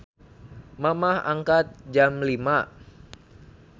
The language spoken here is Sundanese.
Mamah angkat jam 05.00